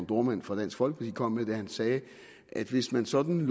dohrmann fra dansk folkeparti kom med da han sagde at hvis man sådan